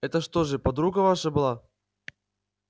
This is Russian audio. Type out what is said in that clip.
это что же подруга ваша была